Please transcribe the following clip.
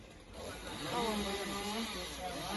коломбо сезон пять